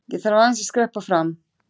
Ég þarf aðeins að skreppa fram.